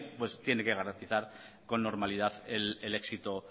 tiene que garantizar con normalidad el éxito